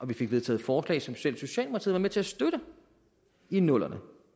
vi fik vedtaget forslag som selv socialdemokratiet var med til at støtte i nullerne